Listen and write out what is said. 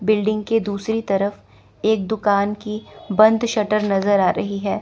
Building के दूसरी तरफ एक दुकान की बंद शटर नजर आ रही है।